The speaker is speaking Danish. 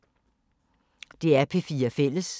DR P4 Fælles